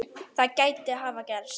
Það gæti hafa gerst.